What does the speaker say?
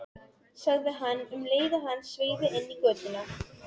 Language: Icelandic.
sagði hann um leið og hann sveigði inn í götuna.